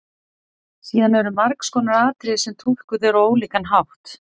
Síðan eru margs konar atriði sem túlkuð eru á ólíkan hátt.